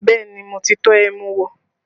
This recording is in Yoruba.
Bẹẹ ni, mo ti tọ́ ẹmu wò